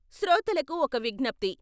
శ్రోతలకు ఒక విజ్ఞప్తి....